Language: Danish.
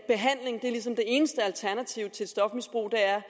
eneste alternativ til stofmisbrug er